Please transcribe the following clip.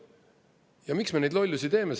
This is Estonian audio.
Ja miks me neid lollusi teeme?